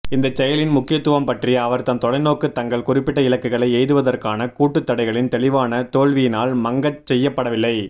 இந்தச் செயலின் முக்கியத்துவம் பற்றிய அவர்தம் தொலைநோக்கு தங்கள் குறிப்பிட்ட இலக்குகளை எய்துவதற்கான கூட்டுத் தடைகளின் தெளிவான தோல்வியினால் மங்கச்செய்யப்படவில்லை